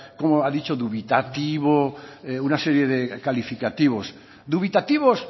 cómo ha dicho dubitativo una serie de calificativos dubitativos